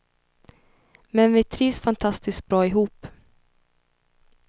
Men vi trivs fantastiskt bra ihop.